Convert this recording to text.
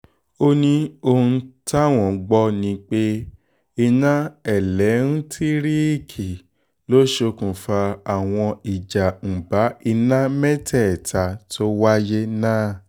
ó ní òun táwọn gbọ́ ni pé iná ẹlẹ́ńtíríìkì ló ṣokùnfà àwọn ìjàǹbá iná mẹ́tẹ̀ẹ̀ta tó wáyé náà